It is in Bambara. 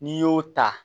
N'i y'o ta